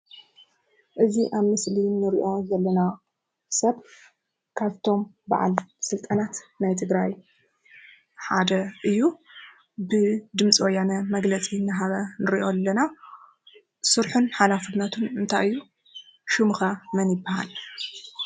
እዚ ኣብ ምስሊ ንሪኦ ዘለና ሰብ ካብቶም ኣብ በዓል ስልጣናት ናይ ትግራይ ሓደ እዩ። ብድምፂ ወያነ መግለፂ እንዳሃበ ንሪኦ ኣለና። ስርሑን ሓላፍነቱን እንታይ እዩ? ሽሙ ከ መን ይበሃል?